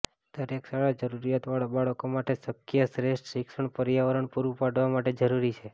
દરેક શાળા જરૂરિયાતવાળા બાળકો માટે શક્ય શ્રેષ્ઠ શિક્ષણ પર્યાવરણ પૂરું પાડવા માટે જરૂરી છે